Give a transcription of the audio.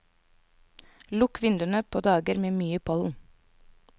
Lukk vinduene på dager med mye pollen.